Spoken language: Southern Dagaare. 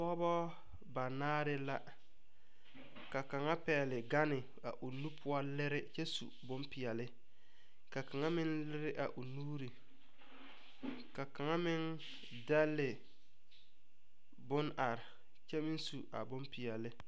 Pɔgɔbɔ ba naare la. Ka kanga pɛgle ganne a o nu poʊ lire kyɛ su boŋ piɛle. Ka kanga meŋ lire a o nuure. Ka kanga meŋ dɛle bon are kyɛ meŋ su a boŋ piɛle.